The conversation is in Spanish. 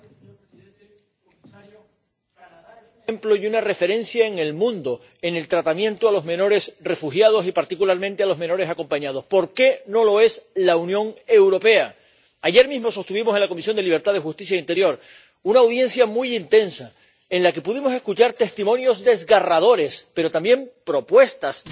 Señor presidente, señor comisario, Canadá es un ejemplo y una referencia en el mundo en el tratamiento a los menores refugiados y, particularmente, a los menores acompañados. ¿Por qué no lo es la Unión Europea? Ayer mismo sostuvimos en la Comisión de Libertades Civiles, Justicia y Asuntos de Interior una audiencia muy intensa en la que pudimos escuchar testimonios desgarradores, pero también propuestas de respuesta